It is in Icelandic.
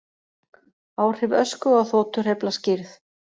Áhrif ösku á þotuhreyfla skýrð